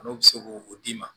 N'o bɛ se k'o d'i ma